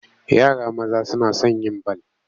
Yara maza suna son yin bal.